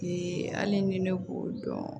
hali ni ne b'o dɔn